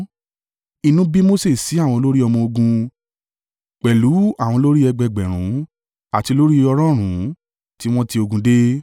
Inú bí Mose sí àwọn olórí ọmọ-ogun, pẹ̀lú àwọn olórí ẹgbẹẹgbẹ̀rún àti olórí ọ̀rọ̀ọ̀rún tí wọ́n ti ogun dé.